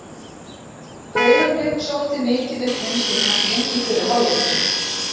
Breiðablik sótti mikið upp vinstri kantinn í fyrri hálfleiknum.